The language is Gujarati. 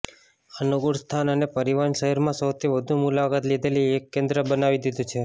અનુકૂળ સ્થાન અને પરિવહન શહેરમાં સૌથી વધુ મુલાકાત લીધેલી એક કેન્દ્ર બનાવી દીધું છે